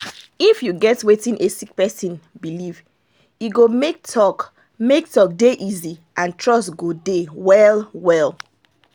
if you get wetin a sick person believe in e go make talk make talk dey easy and trust go dey well well